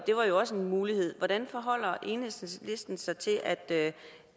var også en mulighed hvordan forholder enhedslisten sig til at